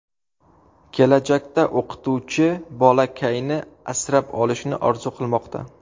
Kelajakda o‘qituvchi bolakayni asrab olishni orzu qilmoqda.